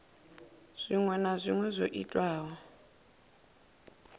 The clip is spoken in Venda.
zwinwe na zwinwe zwo itwaho